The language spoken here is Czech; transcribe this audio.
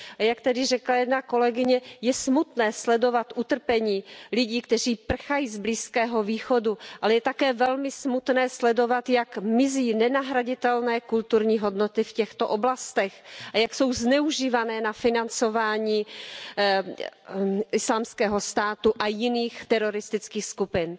A jak tedy řekla jedna kolegyně je smutné sledovat utrpení lidí, kteří prchají z Blízkého východu, ale je také velmi smutné sledovat, jak mizí nenahraditelné kulturní hodnoty v těchto oblastech a jak jsou zneužívány na financování Islámského státu a jiných teroristických skupin.